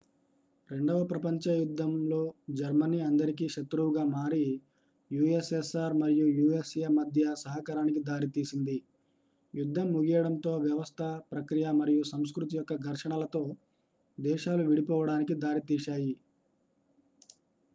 రెండవ ప్రపంచ యుద్ధంలో జర్మనీ అందరికీ శత్రువుగా మారి ussr మరియు usa మధ్య సహకారానికి దారితీసింది యుద్ధం ముగియడంతో వ్యవస్థ ప్రక్రియ మరియు సంస్కృతి యొక్క ఘర్షణలతో దేశాలు విడిపోవడానికి దారితీశాయి